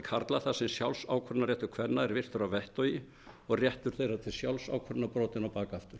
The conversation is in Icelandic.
karla þar sem sjálfsákvörðunarréttur kvenna er virtur að vettugi og réttur þeirra til sjálfsákvörðunar brotinn á bak aftur